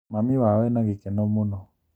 Mami wao ena gĩkeno mũno